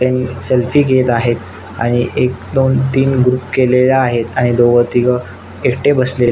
ते सेल्फी घेत आहेत आणि एक दोन तान ग्रुप केले आहेत आणि दोघ तीघ एकटे बसलेले आहेत.